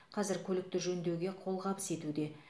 қазір көлікті жөндеуге қолғабыс етуде